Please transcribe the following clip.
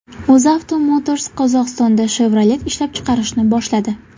UzAuto Motors Qozog‘istonda Chevrolet ishlab chiqarishni boshladi.